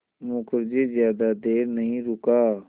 मुखर्जी ज़्यादा देर नहीं रुका